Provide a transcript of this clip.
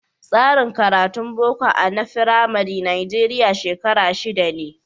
Tsarin karatun Boko a na Firamari Najeriya shekara shida ne.